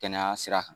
Kɛnɛya sira kan